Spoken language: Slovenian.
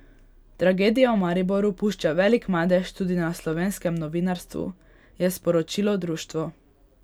Tragedija v Mariboru pušča velik madež tudi na slovenskem novinarstvu, je sporočilo društvo.